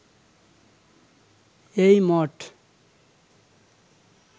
এই মঠ